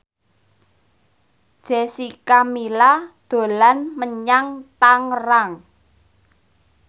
Jessica Milla dolan menyang Tangerang